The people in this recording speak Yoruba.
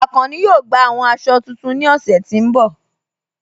Akànnì yóò gbà awọn àṣọ̀ tuntun ní ọṣẹ̀ tí n bọ̀